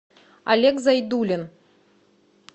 олег зайдулин